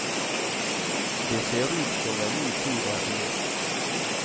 Det ser ut som en ny tid er begynt.